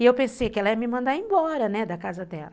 E eu pensei que ela ia me mandar embora, né, da casa dela.